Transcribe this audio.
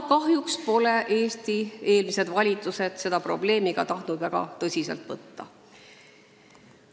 Kahjuks pole Eesti eelmised valitsused seda probleemi tahtnud väga tõsiselt võtta.